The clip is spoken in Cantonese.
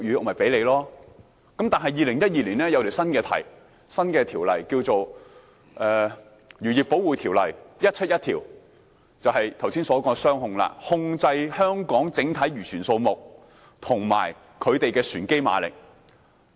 但是，政府在2012年頒布新條例，《漁業保護條例》，推出了剛才提到的"雙控"：控制香港整體漁船數目及其船機馬力。